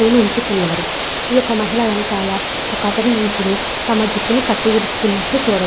ఈ యొక్క మహిళ వెనుక ఒక అతను నించుని జుట్టును కత్తిరిస్తున్నటు చూడవచు.